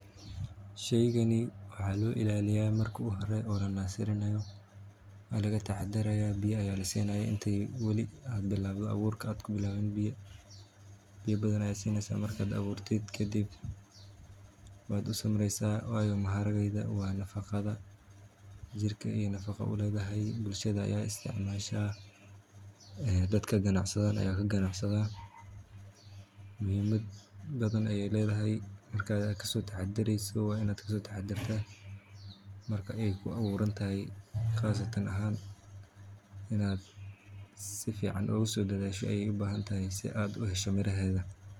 Sheygani waxaa loo ilaaliyaa marka hore waa laga taxadarata biya ayaad sineysa kadib waad usamreesa nafaqo ayeey ledahay muhiimad badan ayeey ledahay waa inaad kasoo taxadartaa marka aay kuu abuuran tahay waa inaad sifican u ilaaliso.